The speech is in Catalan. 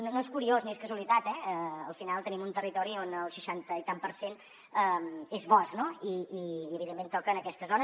no és curiós ni és casualitat eh al final tenim un territori on el seixanta i escaig per cent és bosc i evidentment toca en aquestes zones